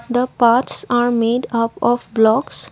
the parts are made up of blocks.